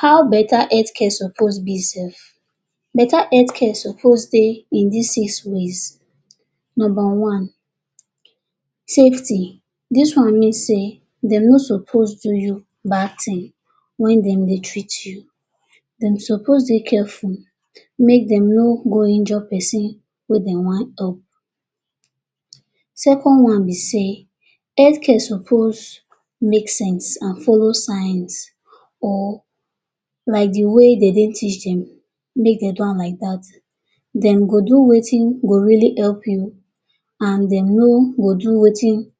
How better health care suppose be sef? Better health care suppose dey in dis six ways. Number one safety- dis one mean sey dem no suppose do you bad thing when dem dey treat you, dem suppose dey careful make dem no go injure pesin wey dey wan cure. Second one be sey health care suppose make sense and follow signs or like dey way dey dentists dem make dem do am like dat. Dem go do wetin wey go really help you and dem no go do wetin